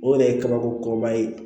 O yɛrɛ ye kabako kɔrɔba ye